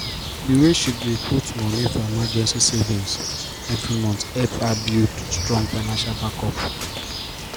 the way she dey put moni for emergency savings every month help her build strong financial backup.